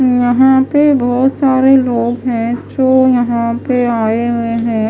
यहां पे बहुत सारे लोग है जो यहां पे आए हुए हैं।